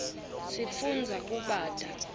sifundza kubata